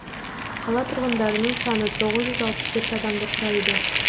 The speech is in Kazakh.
қала тұрғындарының саны тоғыз жүз алпыс төрт адамды құрайды